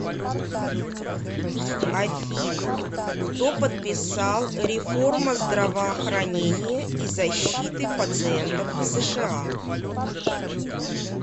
афина кто подписал реформа здравоохранения и защиты пациентов в сша